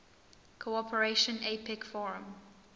cooperation apec forum